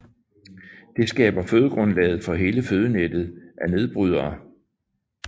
Det skaber fødegrundlaget for hele fødenettet af nedbrydere